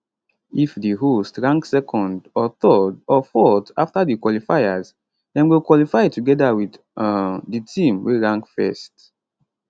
if di host rank second or third or fourth afta di qualifiers dem go qualify togeda wit um di team wey rank first